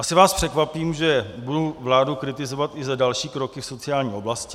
Asi vás překvapím, že budu vládu kritizovat i za další kroky v sociální oblasti.